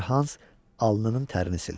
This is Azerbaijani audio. balaca Hans alnının tərin sildi.